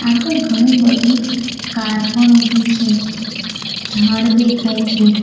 આગળ ઘણી બધી કાર પણ ઊભી છે ઝાડ દેખાય છે.